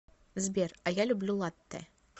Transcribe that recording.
сбер а я люблю латтэ